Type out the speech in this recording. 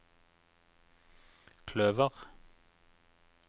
kløver